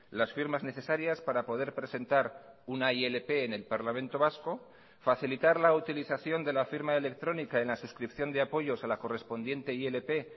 las firmas necesarias para poder presentar una ilp en el parlamento vasco facilitar la utilización de la firma electrónica en la suscripción de apoyos a la correspondiente ilp